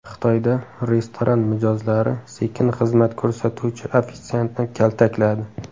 Xitoyda restoran mijozlari sekin xizmat ko‘rsatuvchi ofitsiantni kaltakladi .